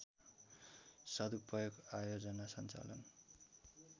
सदुपयोग आयोजना सञ्चालन